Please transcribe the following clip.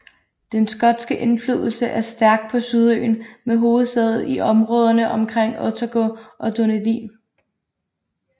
Den skotske indflydelse er stærk på Sydøen med hovedsæde i områderne omkring Otago og Dunedin